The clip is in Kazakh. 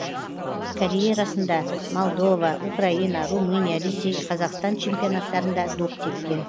карьерасында молдова украина румыния ресей қазақстан чемпионаттарында доп тепкен